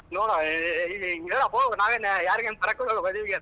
ನೋಡಾ ಹೇಳಪ್ಪೋ ನಾವ್ ಯೇನ್ ಯಾರಿಗ್ ಏನ್ ಬರಕ್ ಹೋಗಲ್ಲ ಮದ್ವಿಗೆ.